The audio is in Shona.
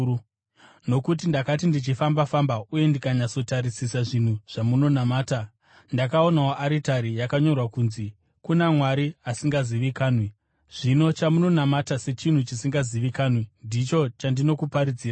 Nokuti ndakati ndichifamba-famba uye ndikanyatsotarisisa zvinhu zvamunonamata, ndakaonawo aritari yakanyorwa kunzi: KUNA MWARI ASINGAZIVIKANWI. Zvino chamunonamata sechinhu chisingazivikanwi ndicho chandinokuparidzirai.